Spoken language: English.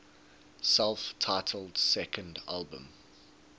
self titled second album